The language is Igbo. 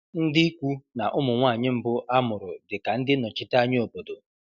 Ndị ikwu na ụmụ nwanyị mbụ a mụrụ dị ka ndị nnọchiteanya obodo.